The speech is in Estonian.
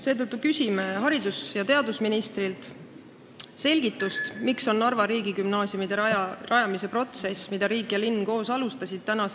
Seetõttu küsime haridus- ja teadusministrilt selgitust, miks on Jüri Ratase valitsus peatanud Narva riigigümnaasiumide rajamise protsessi, mida riik ja linn koos alustasid.